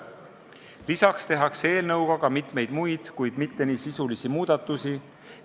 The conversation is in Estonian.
Lisaks tehakse eelnõuga mitmeid muid, kuid mitte nii sisulisi muudatusi.